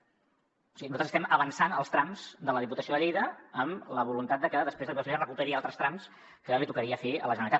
o sigui nosaltres estem avançant els trams de la diputació de lleida amb la voluntat de que després la diputació de lleida recuperi altres trams que li tocaria fer a la generalitat